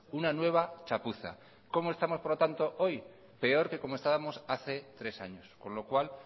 una nueva chapuza cómo estamos por lo tanto hoy peor que como estábamos hace tres años con lo cual